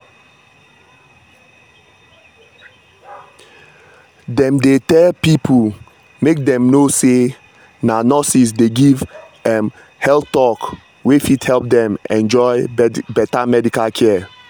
dem dey tell pipo make dem know say na nurses dey give um health talk wey fit help dem enjoy better medical care.